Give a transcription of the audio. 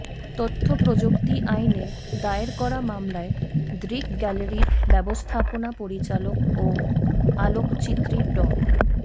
তথ্য প্রযুক্তি আইনে দায়ের করা মামলায় দৃক গ্যালারির ব্যবস্থাপনা পরিচালক ও আলোকচিত্রী ড